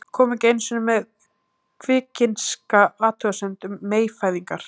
Kom ekki einu sinni með kvikinska athugasemd um meyfæðingar.